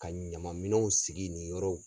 Ka ɲama minɛnw sigi nin yɔrɔw